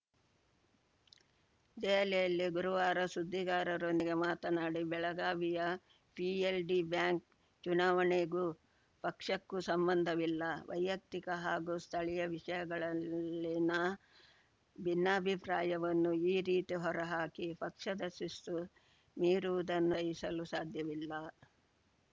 ದೆಹಲಿಯಲ್ಲಿ ಗುರುವಾರ ಸುದ್ದಿಗಾರರೊಂದಿಗೆ ಮಾತನಾಡಿ ಬೆಳಗಾವಿಯ ಪಿಎಲ್ಡಿ ಬ್ಯಾಂಕ್‌ ಚುನಾವಣೆಗೂ ಪಕ್ಷಕ್ಕೂ ಸಂಬಂಧವಿಲ್ಲ ವೈಯಕ್ತಿಕ ಹಾಗೂ ಸ್ಥಳೀಯ ವಿಷಯಗಳಲ್ಲಿನ ಭಿನ್ನಾಭಿಪ್ರಾಯವನ್ನು ಈ ರೀತಿ ಹೊರ ಹಾಕಿ ಪಕ್ಷದ ಶಿಸ್ತು ಮೀರುವುದನ್ನು ಸಹಿಸಲು ಸಾಧ್ಯವಿಲ್ಲ